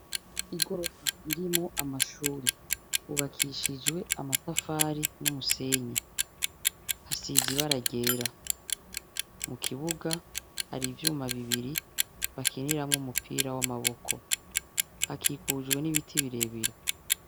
Igorofa irimwo amashuri, yubakishijwe amatafari n'umusenyi. Hasize ibara ryera. Mu kibuga hari ivyuma bibiri bakiniramwo umupira w'amaboko. Hakikujwe n'ibiti birebire.